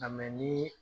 Nka ni